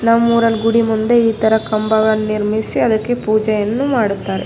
ನಮ್ಮೂರನ್ಗ್ ಗುಡಿ ಮುಂದೆ ಇತರ ಕಂಬಗಳನ್ನು ನಿರ್ಮಿಸಿ ಅದಕ್ಕೆ ಪೂಜೆಯನ್ನು ಮಾಡುತ್ತಾರೆ.